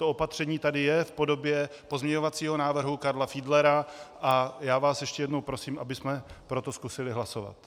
To opatření tady je v podobě pozměňovacího návrhu Karla Fiedlera a já vás ještě jednou prosím, abychom pro to zkusili hlasovat.